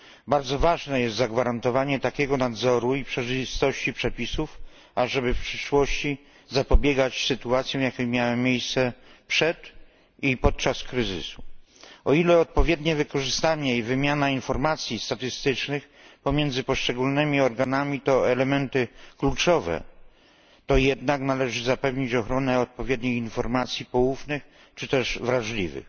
Bardzo ważne jest zagwarantowanie takiego nadzoru i przejrzystości przepisów, aby w przyszłości zapobiegać sytuacjom, jakie miały miejsce przed kryzysem i w jego trakcie. O ile odpowiednie wykorzystanie i wymiana informacji statystycznych pomiędzy poszczególnymi organami to elementy kluczowe, to jednak należy zapewnić ochronę odpowiednich informacji poufnych czy też wrażliwych.